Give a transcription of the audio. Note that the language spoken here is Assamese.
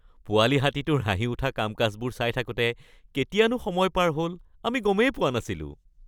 পোৱালি হাতীটোৰ হাঁহি উঠা কাম-কাজবোৰ চাই থাকোঁতে কেতিয়ানো সময় পাৰ হ'ল আমি গমেই পোৱা নাছিলোঁ।